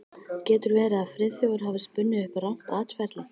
Getur verið að Friðþjófur hafi spunnið upp rangt atferli?